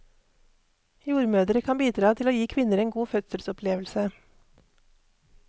Jordmødre kan bidra til å gi kvinner en god fødselsopplevelse.